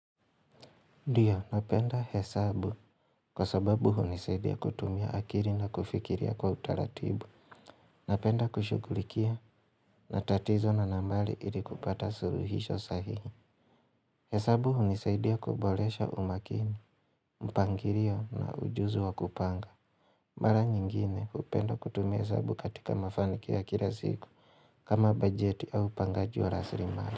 Ndiyo, napenda hesabu kwa sababu hunisaidia kutumia akiri na kufikiria kwa utaratibu. Napenda kushugulikia matatizo na nambali ili kupata suruhisho sahihi. Hesabu hunisaidia kuboresha umakini, mpangirio na ujuzi wa kupanga. Mara nyingine, hupenda kutumia hesabu katika mafanikio ya kila siku kama bajeti au upangaji wa rasirimari.